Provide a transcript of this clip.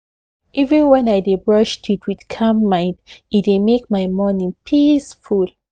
even when i dey brush teeth with calm mind e dey make my morning peaceful